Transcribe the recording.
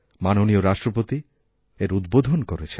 মাননীয় রাষ্ট্রপতি এর উদ্বোধন করেছেন